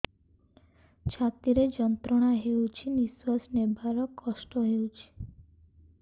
ଛାତି ରେ ଯନ୍ତ୍ରଣା ହେଉଛି ନିଶ୍ଵାସ ନେବାର କଷ୍ଟ ହେଉଛି